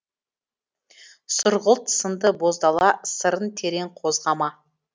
сұрғылт сынды боз дала сырын терең қозғама